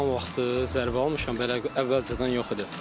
İdman vaxtı zərbə almışam, belə əvvəlcədən yox idi.